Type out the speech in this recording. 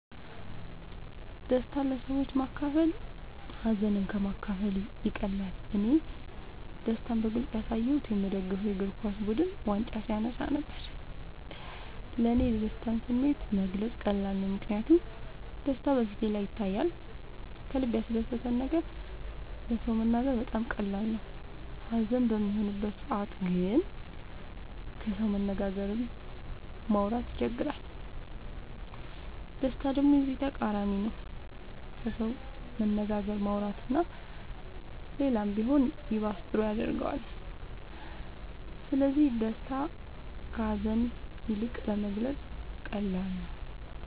ደስታን ለሰዎች ማካፈል ሀዘንን ከ ማካፈል ይቀላል እኔ ደስታን በግልፅ ያሳየሁት የ ምደግፈው የ እግርኳስ ቡድን ዋንጫ ሲያነሳ ነበር። ለ እኔ የደስታን ስሜት መግለፅ ቀላል ነው ምክንያቱም ደስታ በ ፊቴ ላይ ይታያል ከልበ ያስደሰተን ነገር ለ ሰው መናገር በጣም ቀላል ነው ሀዘን በሚሆንበት ሰዓት ግን ከሰው መነጋገርም ማውራት ይቸግራል ደስታ ደሞ የዚ ተቃራኒ ነው ከሰው መነጋገር ማውራት እና ሌላም ቢሆን ይባስ ጥሩ ያረገዋል ስለዚ ደስታ ከ ሀዛን ይልቅ ለመግለፃ ቀላል ነው።